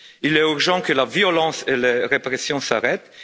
Il est urgent que la violence et la répression s'arrêtent.